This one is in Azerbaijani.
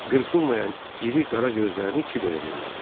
Qırpılmayan iri qara gözlərini Kiberə zillədi.